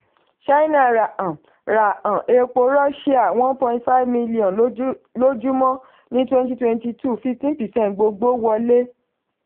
china ra um ra um epo russia one point five m lójúmọ́ ní twenty twenty two fifteen percent gbogbo wọlé.